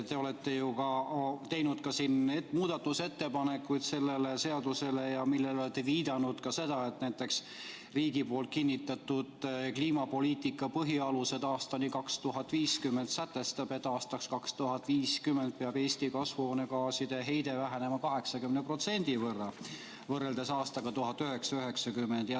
Te olete ju teinud ka siin muudatusettepanekuid selle seaduse kohta ja olete viidanud ka seda, et näiteks riigi poolt kinnitatud "Kliimapoliitika põhialused aastani 2050" sätestab, et aastaks 2050 peab Eesti kasvuhoonegaaside heide vähenema 80% võrra võrreldes aastaga 1990.